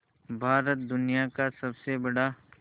भारत दुनिया का सबसे बड़ा